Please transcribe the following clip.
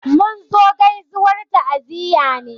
Mun zo gaizuwar ta'ziyya ne